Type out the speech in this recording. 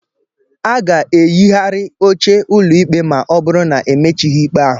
A ga-eyigharị oche ụlọikpe ma ọ bụrụ na emechighị ikpe ahụ.